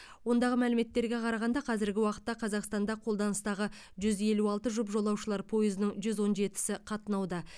ондағы мәліметтерге қарағанда қазіргі уақытта қазақстанда қолданыстағы жүз елу алты жұп жолаушылар пойызының жүз он жетісі қатынауда